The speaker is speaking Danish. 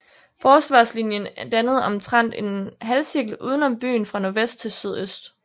Forsvarslinjen dannede omtrent en halvcirkel uden om byen fra nordvest til sydøst